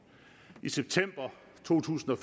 i september to tusind og